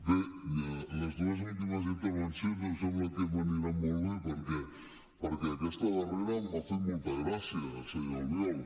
bé les dues últimes intervencions em sembla que m’aniran molt bé perquè aquesta darrera m’ha fet molta gràcia senyor albiol